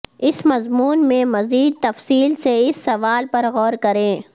اس مضمون میں مزید تفصیل سے اس سوال پر غور کریں